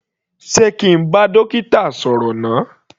Sé kí n bá dókítà sọ̀rọ̀ náà.